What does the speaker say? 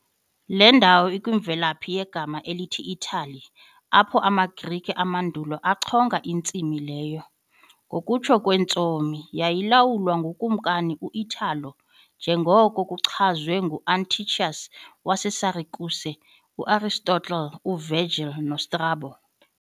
Le ndawo ikwimvelaphi yegama elithi "Italy", apho amaGrike amandulo achonga intsimi leyo, ngokutsho kweentsomi, yayilawulwa nguKumkani u-Italo , njengoko kuchazwe nguAntiochus waseSirakuse, u- Aristotle, uVirgil noStrabo